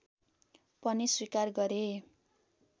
पनि स्वीकार गरे